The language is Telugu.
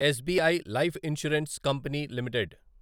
SBI life insurance company limited